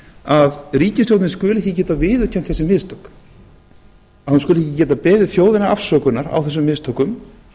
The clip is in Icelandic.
að ríkisstjórnin skyldi ekki geta viðurkennt þessi mistök að hún skuli ekki geta beðið þjóðina afsökunar á þessum mistökum